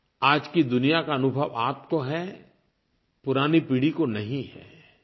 जितना आज की दुनिया का अनुभव आपको है पुरानी पीढ़ी को नहीं है